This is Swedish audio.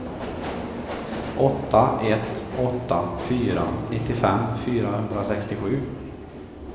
åtta ett åtta fyra nittiofem fyrahundrasextiosju